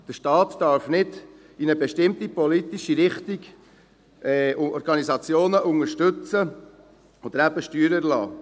Der Staat darf nicht in eine bestimmte politische Richtung Organisationen unterstützen oder ihnen die Steuern erlassen.